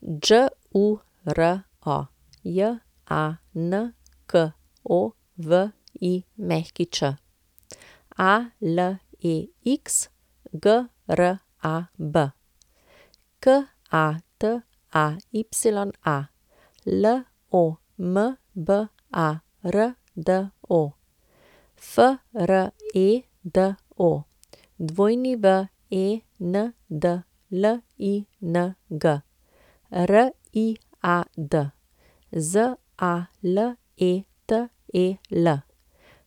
Đuro Janković, Alex Grab, Kataya Lombardo, Fredo Wendling, Riad Zaletel,